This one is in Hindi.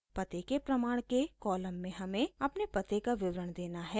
पते के प्रमाण के कॉलम में हमें अपने पते का विवरण देना है